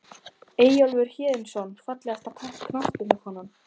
Eyjólfur Héðinsson Fallegasta knattspyrnukonan?